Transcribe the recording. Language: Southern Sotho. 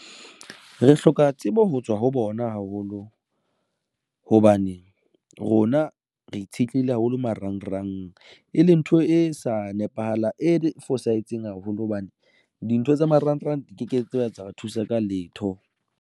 Re hloka tsebo ho tswa ho bona haholo hobane rona re itshetlehile haholo. Marangrang e leng ntho e sa e fosahetseng haholo hobane dintho tsa marangrang di ke ke tsa re thusa ka letho.